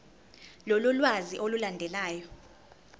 lolu lwazi olulandelayo